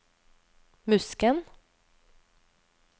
Musken